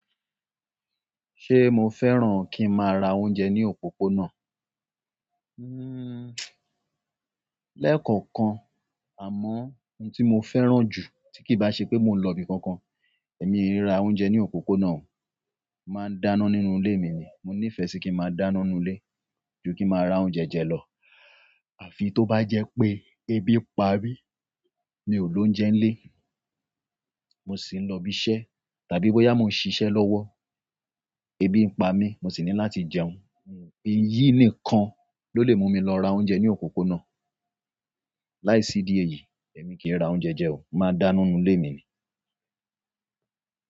Ṣé mo fẹ́ràn kí n má ra oúnjẹ ní òpópónà? Hmm, lẹ́ẹ̀kọ̀kan àmọ́ ohun tí mo fẹ́ràn jù tí kì bá ṣe pé mò ń lọ ibi kankan, èmi kì í ra oúnjẹ ní òpópónà o, mà á dáná nínú ilé mi ni. Mo ní ìfẹ́ sí kí n máa dáná nínú ilé ju kí máa ra oúnjẹ jẹ lọ. Àfi tó bá jẹ́ pé ebi ń pamí, mi ò lóúnjẹ ń lé, mo sì ń lọ ibi iṣẹ́ tàbí bóyá mo ń ṣiṣẹ́ lọ́wọ́, ebi ń pa mí, mo sì ní láti jẹun. Iyi nìkan ni ole mumi lora oúnjẹ ni òpópónà láìsí di èyí, èmi kì í ra oúnjẹ jẹ o, mà á dáná nínú ilé mi ni.